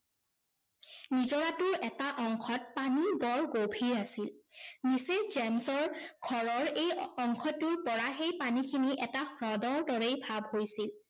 নিজৰাটোৰ এটা অংশত পানী বৰ গভীৰ আছিল। mrs. জেমছৰ ঘৰৰ এই অংশটোৰ পৰা সেই পানীখিনি এটা হ্ৰদৰ দৰেই ভাৱ হৈছিল।